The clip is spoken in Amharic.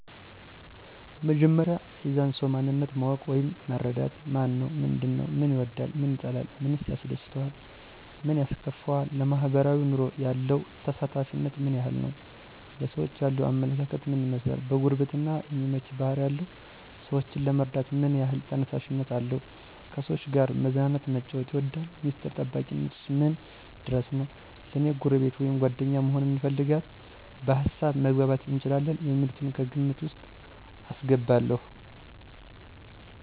በመጀመሪያ የዛን ሰዉ ማንነት ማወቅ ወይም መረዳት። ማነው ምንድን ነዉ፦ ምን ይወዳል ምን ይጠላል፣ ምን ያስደስተዋል ምን ያስከፈዋል፣ ለማሕበራዊ ኑሮ ያለው ተሳታፊነት ምን ያክል ነዉ፣ ለሰዎች ያለዉ አመለካከት ምን ይመስላል፣ ለጉርብትና የሚመች ባሕሪ አለው ?ሰወችን ለመርዳት ምን ያሕል ተነሳሽነት አለው፣ ከሰዎች ጋር መዝናናት መጫወት ይወዳል፣ ሚስጥር ጠባቂነቱ ምን ድረስ ነዉ፣ ለኔ ጎረቤት ወይም ጓደኛ መሆንን ይፈልጋል፣ በሀሳብ መግባባት እንችላለን የሚሉትን ከግምት ዉስጥ አስገባለዉ።